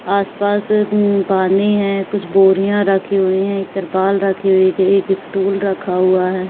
आस पास उम्म पानी है। कुछ बोरियाँ रखी हुई हैं एक तिरपाल रखी हुई है। एक स्टूल रखा हुआ है।